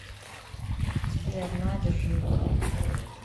сбер на держи